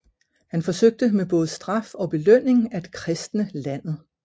Han forsøgte med både straf og belønning at kristne landet